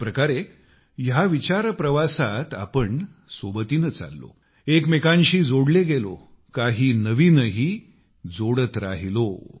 एक प्रकारे ह्या विचार प्रवासात आपण सोबतीने चाललो एकमेकांशी जोडले गेलो आणि नविनही काही जोडत राहिलो